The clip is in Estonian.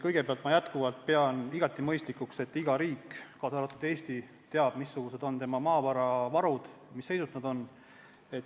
Kõigepealt pean ma jätkuvalt igati mõistlikuks, et iga riik, kaasa arvatud Eesti, teab, missugused on tema maavaravarud ja mis seisus nad on.